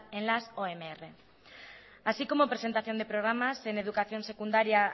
en las onr así como presentación de programas en educación secundaria